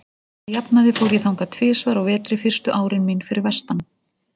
Að jafnaði fór ég þangað tvisvar á vetri fyrstu árin mín fyrir vestan.